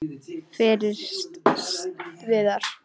Fyrst Viðar.